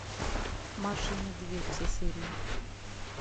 маша и медведь все серии